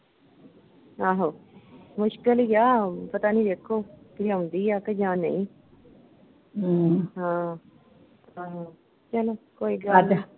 ਆਹੋ ਮੁਸ਼ਕਿਲ ਈ ਆਂ ਪਤਾ ਨਹੀਂ ਵੇਖੋ ਕਿ ਆਉਂਦੀ ਆ ਕਿ ਜਾਂ ਨਹੀਂ, ਹਾਂ, ਆਹੋ, ਚੱਲੋ ਕੋਈ ਗੱਲ ਨੀ